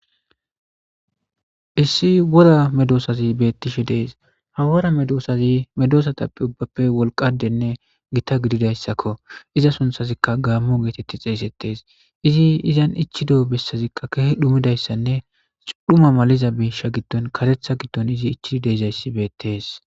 Issi wora medoosazi beettishe dees ha wora medoosazi medoosatappe ubbappe wolqadenne gita gididayssakko iza sunthazikka gaammo geetetti xeesettes izi izan ichido bessazikka kehe dhumidayssanne cudhuma maliza biisha giddon karetha giddon izi ichid deezayssi beettes